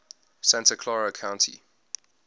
santa clara county